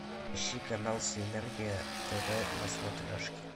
ищи канал синергия тв на смотрешке